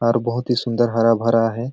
और बहुत ही सुन्दर हरा -भरा हे।